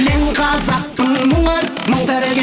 мен қазақпын мың өліп мың тірілген